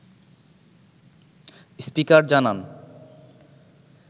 speaker জানান